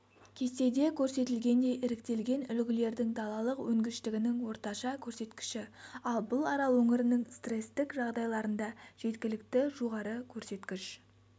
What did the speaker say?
кестеде көрсетілгендей іріктелген үлгілердің далалық өнгіштігінің орташа көрсеткіші ал бұл арал өңірінің стресстік жағдайларында жеткілікті жоғары көрсеткіш